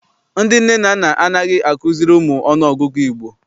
Ndị nne na nna anaghị azukiri ụmụ ọnụọgụgụ Igbo.